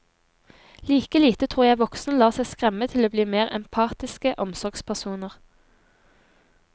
Like lite tror jeg voksne lar seg skremme til å bli mer empatiske omsorgspersoner.